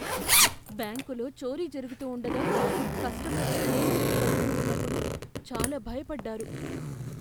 బ్యాంకులో చోరీ జరుగుతూ ఉండగా, కస్టమర్లు నేల మీద పడుకొని ఉన్నప్పుడు, చాలా భయపడ్డారు.